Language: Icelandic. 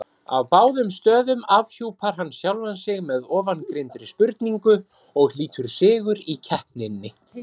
Á báðum stöðum afhjúpar hann sjálfan sig með ofangreindri spurningu og hlýtur sigur í keppninni.